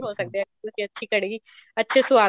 ਹੋ ਸਕਦੇ ਜੇ ਤੁਸੀਂ ਅੱਛੀ ਕੜ੍ਹੀ ਅੱਛੇ ਸਵਾਦ